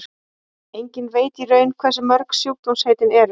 enginn veit í raun hversu mörg sjúkdómaheitin eru